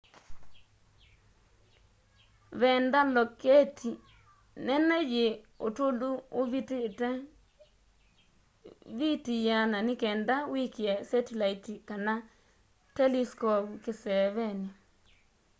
veenda loketi nene yi utulu uvitite viti 100 nikenda wikie setilaiti kana teliskovu kiseeveni